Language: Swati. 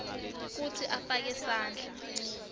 kutsi afake sandla